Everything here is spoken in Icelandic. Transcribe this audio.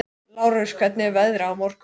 Lárus, hvernig verður veðrið á morgun?